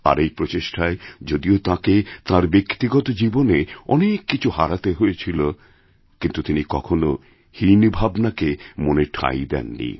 আর এই প্রচেষ্টায় যদিওতাঁকে তাঁর ব্যক্তিগত জীবনে অনেক কিছু হারাতে হয়েছিল কিন্তু তিনি কখনো হীনভাবনাকে মনে ঠাঁই দেন নি